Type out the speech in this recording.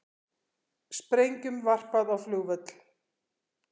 Sprengjum varpað á flugvöll